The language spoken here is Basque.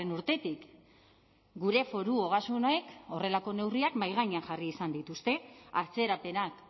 urtetik gure foru ogasunek horrelako neurriak mahai gainean jarri izan dituzte atzerapenak